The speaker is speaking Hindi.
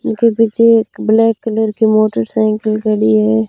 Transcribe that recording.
इनके पीछे एक ब्लैक कलर की मोटरसाइकिल खड़ी है।